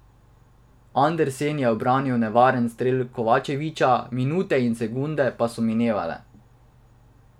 Andersen je ubranil nevaren strel Kovačevića, minute in sekunde pa so minevale.